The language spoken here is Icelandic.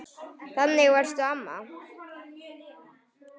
Þannig varstu, amma.